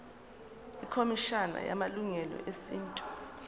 ikhomishana yamalungelo esintu